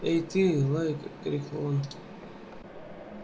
эй ты лайка крикнул он